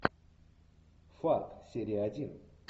фарт серия один